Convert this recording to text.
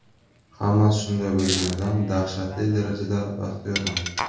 Hammasi shunday bo‘lganidan dahshatli darajada baxtiyorman”.